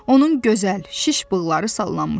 Onun gözəl, şiş bığları sallanmışdı.